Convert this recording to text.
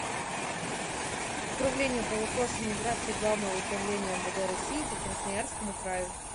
управление по вопросам миграции главного управления мвд россии по красноярскому краю